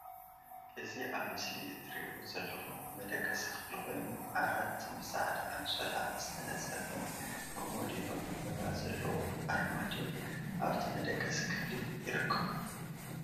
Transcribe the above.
እዚ ኣብ ምስሊ እትሪእዎ ዘለኩም መደቀሲ ክፍሊ ኮይኑ ዓራት ብ ጻዕዳ ኣንሶላ ዝተነጸፈ ኮሞዲኖ ዕንበባ ዘለዎ ኣርማድዮ ኣብቲ መደቀሲ ክፍሊ ይርከቡ።